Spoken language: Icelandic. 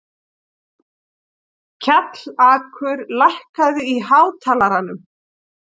Kjallakur, lækkaðu í hátalaranum.